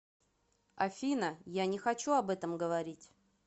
афина я не хочу об этом говорить